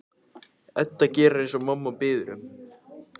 Edda gerir eins og mamma biður um.